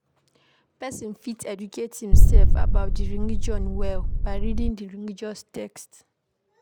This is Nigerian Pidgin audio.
Person fit educate im self about di religion well by reading di religious text